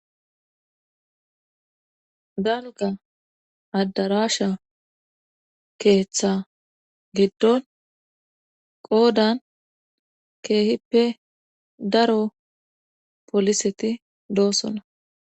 Dalga addarasha keeththa giddon qoodan keehippe daro poliseti doossona